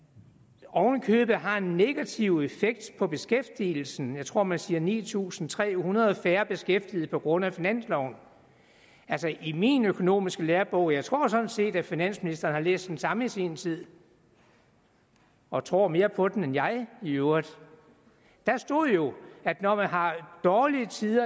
og oven i købet har en negativ effekt på beskæftigelsen jeg tror man siger ni tusind tre hundrede færre beskæftigede på grund af finansloven altså i min økonomiske lærebog og jeg tror sådan set at finansministeren har læst den samme i sin tid og tror mere på den end jeg i øvrigt stod jo at når man har dårlige tider